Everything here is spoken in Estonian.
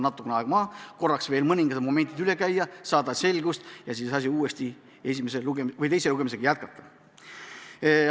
Tuleb aeg maha võtta, mõningad momendid üle käia, selgust saada ja siis teise lugemisega edasi minna.